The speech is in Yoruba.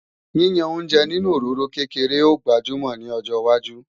Yíyan oúnjẹ nínú òróró kékeré ó gbajúmò ní ọjọwájú